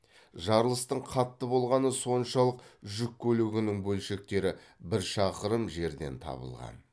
жарылыстың қатты болғаны соншалық жүк көлігінің бөлшектері бір шақырым жерден табылған